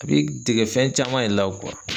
A b'i dege fɛn caman ye la .